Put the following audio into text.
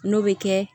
N'o bɛ kɛ